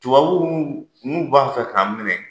Tubabuw n'u b'a fɛ k'an minɛ,